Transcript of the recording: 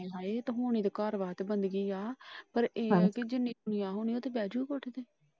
ਹਾਏ ਹੋਣੀ ਤਾਂ ਘਰ ਵਾਸਤੇ ਬੰਦਗੀ ਆ ਪਰ ਇਹ ਜਿੰਨੀ ਦੁਨੀਆਂ ਹੋਣੀ ਉੱਥੇ ਬਹਿ ਜਾਊਗਾ ਕੋਈ ।